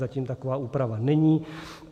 Zatím taková úprava není.